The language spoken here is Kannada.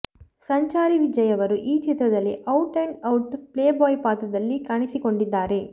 ಸಂಚಾರಿ ವಿಜಯ್ ಅವರು ಈ ಚಿತ್ರದಲ್ಲಿ out and out playboy ಪಾತ್ರದಲ್ಲಿ ಕಾಣಿಸಿಕೊಂಡಿದ್ದಾರೆ